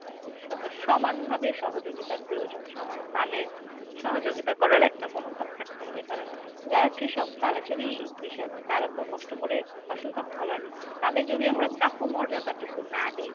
স~ সমানভাবে সহযোগিতার প্রয়োজন। সমান তালে সহযোগিতা করার একটা মনোভাব থাকতে হবে কারণ যারা কৃষক তারা যদি তারা তো কষ্ট করে ফসলটা ফলানই তাদের যদি আমরা প্রাপ্য মর্যাদাটুকু না দেই